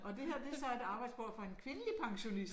Og det her det så et arbejdsbord for en kvindelig pensionist